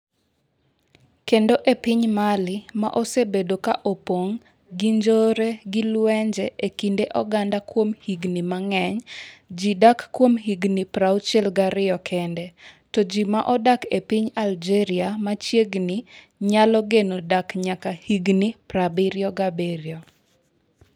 Kendo e piny Mali - ma osebedo ka opong’ gi njore gi lwenje e kind oganda kuom higni mang’eny - ji dak kuom higni 62 kende, to ji ma odak e piny Algeria ma machiegni nyalo geno dak nyaka higni 77.